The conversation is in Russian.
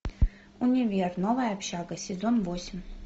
универ новая общага сезон восемь